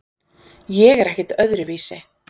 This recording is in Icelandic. Ég er ekkert öðruvísi.